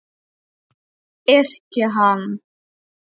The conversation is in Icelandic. Yrkja hann!